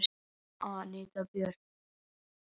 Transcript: Anita Björt.